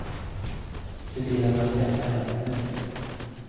Se till att han skaffar en nu.